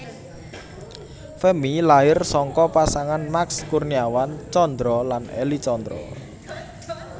Femmy lahir saka pasangan Max Kurniawan Tjandra lan Elly Tjandra